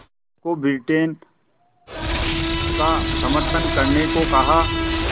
को ब्रिटेन का समर्थन करने को कहा